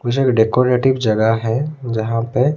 कुछ एक डेकोरेटिव जगह है जहां पे--